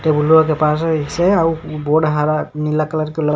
table वा के पास ओइसे हउ बोड हरा नीला कलर के लड़--